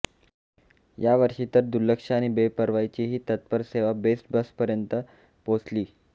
यावर्षी तर दुर्लक्ष आणि बेपर्वाईची ही तत्पर सेवा बेस्ट बसपर्यंत पोहोचली